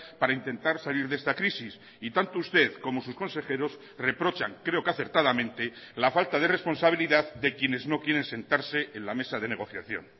para intentar salir de esta crisis y tanto usted como sus consejeros reprochan creo que acertadamente la falta de responsabilidad de quienes no quieren sentarse en la mesa de negociación